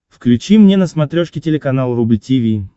включи мне на смотрешке телеканал рубль ти ви